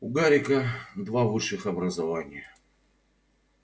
у гарика два высших образования